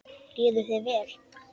Líður vel.